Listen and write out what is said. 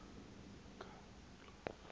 izikhalazo